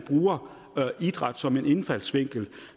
bruger idræt som en indfaldsvinkel